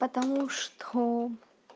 потому что